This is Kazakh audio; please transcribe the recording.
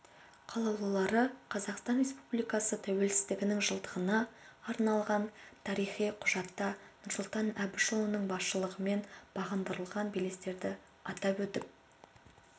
қалаулылары қазақстан республикасы тәуелсіздігінің жылдығына арналған тарихи құжатта нұрсұлтан әбішұлының басшылығымен бағындырылған белестерді атап өтіп